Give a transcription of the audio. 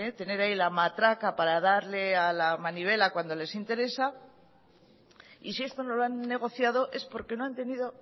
tener ahí la matraca para darle a la manivela cuando les interesa y si esto no lo han negociado es porque no han tenido